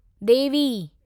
देवी